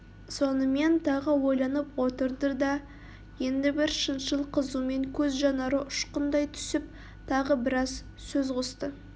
сонымен тағы ойланып отырды да енді бір шыншыл қызумен көз жанары ұшқындай түсіп тағы біраз сөз қосты